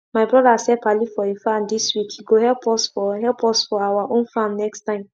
my brothers help ali for he farm this week he go help us for help us for our own farm next time